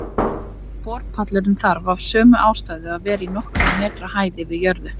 Borpallurinn þarf af sömu ástæðu að vera í nokkurra metra hæð yfir jörðu.